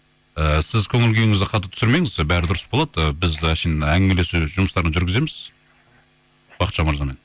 ііі сіз көңіл күйіңізді қатты түсірмеңіз бәрі дұрыс болады ы біз әшейін әңгімелесу жұмыстарын жүргіземіз бахытжан мырзамен